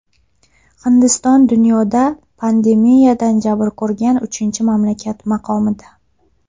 Hindiston dunyoda pandemiyadan jabr ko‘rgan uchinchi mamlakat maqomida.